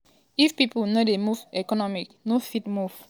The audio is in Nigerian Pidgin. if pipo no dey move economy no fit move.